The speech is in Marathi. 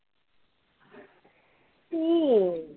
हम्म